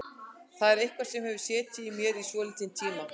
Þetta er eitthvað sem hefur setið í mér í svolítinn tíma.